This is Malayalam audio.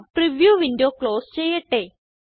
പ്രിവ്യൂ വിൻഡോ ക്ലോസ് ചെയ്യട്ടെ